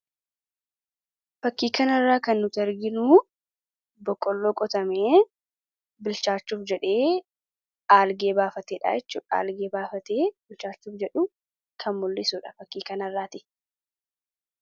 Fakkii kanarraa kan nuti arginuu boqqolloo qotamee bilchaachuuf jedhee aalgee baafatee dha jechuu dha. Aalgee baafatee bilchaachuuf jedhu kan mul'isuudha fakkii kanarraatti.